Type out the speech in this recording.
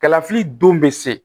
Kalafili don bɛ se